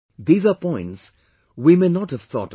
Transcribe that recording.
These are points we may have not thought of